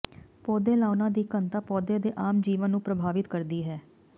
ਪੌਦੇ ਲਾਉਣਾ ਦੀ ਘਣਤਾ ਪੌਦੇ ਦੇ ਆਮ ਜੀਵਨ ਨੂੰ ਪ੍ਰਭਾਵਿਤ ਕਰਦੀ ਹੈ